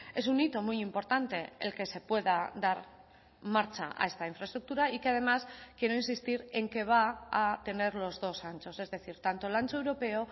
es un hito muy importante el que se pueda dar marcha a esta infraestructura y que además quiero insistir en que va a tener los dos anchos es decir tanto el ancho europeo